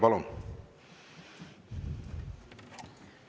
Palun!